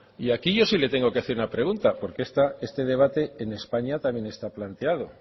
y aquí yo sí le tengo que hacer una pregunta porque este debate en españa también está planteado